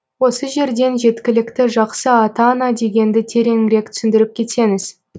осы жерден жеткілікті жақсы ата ана дегенді тереңірек түсіндіріп кетсеңіз